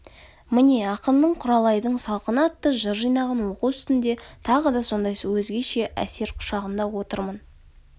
міне ақынның құралайдың салқыны атты жыр жинағын оқу үстінде тағы да сондай өзгеше әсер құшағында отырмын